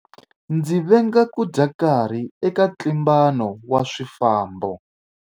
Ndzi venga ku dya nkarhi eka ntlimbano wa swifambo.